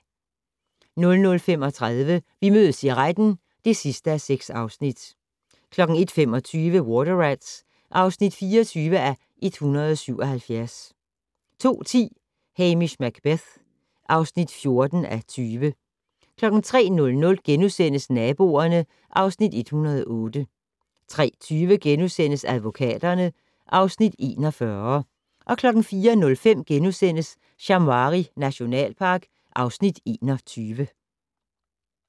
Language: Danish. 00:35: Vi mødes i retten (6:6) 01:25: Water Rats (24:177) 02:10: Hamish Macbeth (14:20) 03:00: Naboerne (Afs. 108)* 03:20: Advokaterne (Afs. 41)* 04:05: Shamwari nationalpark (Afs. 21)*